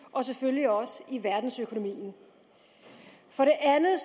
og selvfølgelig også i verdensøkonomien for det andet